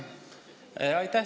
Aitäh!